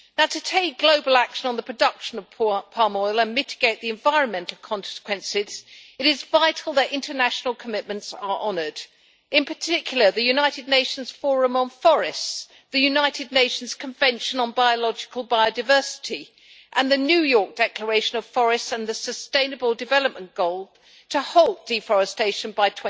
To take global action on the production of palm oil and mitigate the environmental consequences, it is vital that international commitments are honoured, in particular the United Nations Forum on Forests, the United Nations Convention on Biological Biodiversity, the New York Declaration on Forests and the Sustainable Development Goal to halt deforestation by